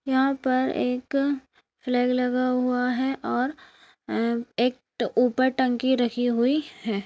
यहाँ पर एक फ्लैग लगा हुआ है और अ एक ट ऊपर एक टंकी रखी हुई है।